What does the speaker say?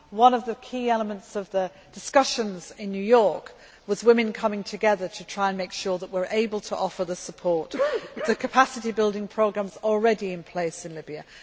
down. One of the key elements of the discussions in New York was women coming together to try to make sure that we are able to offer the support of the capacity building programmes already in place in Libya.